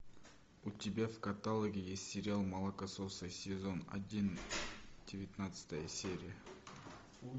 у тебя в каталоге есть сериал молокососы сезон один девятнадцатая серия